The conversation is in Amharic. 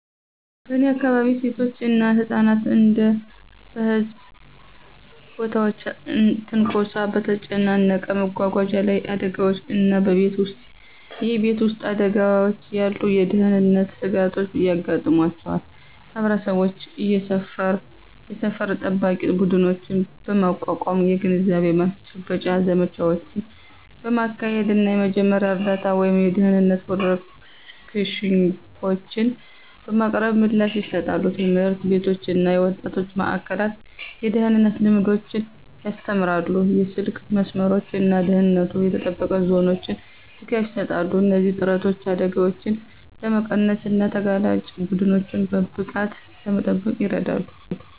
በእኔ አካባቢ፣ ሴቶች እና ህጻናት እንደ በህዝብ ቦታዎች ትንኮሳ፣ በተጨናነቀ መጓጓዣ ላይ አደጋዎች እና በቤት ውስጥ የቤት ውስጥ አደጋዎች ያሉ የደህንነት ስጋቶች ያጋጥሟቸዋል። ማህበረሰቦች የሰፈር ጠባቂ ቡድኖችን በማቋቋም፣ የግንዛቤ ማስጨበጫ ዘመቻዎችን በማካሄድ እና የመጀመሪያ እርዳታ ወይም የደህንነት ወርክሾፖችን በማቅረብ ምላሽ ይሰጣሉ። ትምህርት ቤቶች እና የወጣቶች ማእከላት የደህንነት ልምዶችን ያስተምራሉ, የስልክ መስመሮች እና ደህንነቱ የተጠበቀ ዞኖች ድጋፍ ይሰጣሉ. እነዚህ ጥረቶች አደጋዎችን ለመቀነስ እና ተጋላጭ ቡድኖችን በብቃት ለመጠበቅ ይረዳሉ።